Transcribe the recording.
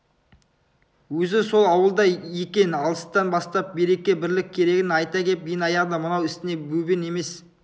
өзі сол ауылда екен алыстан бастап береке-бірлік керегін айта кеп ең аяғында мынау ісіңе бөбең емес